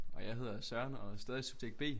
Og jeg hedder Søren og er stadig subjekt B